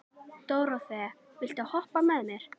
Dóróþea, viltu hoppa með mér?